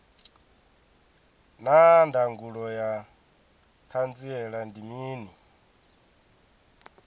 naa ndangulo ya hanziela ndi mini